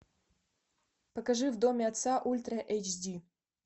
покажи в доме отца ультра эйч ди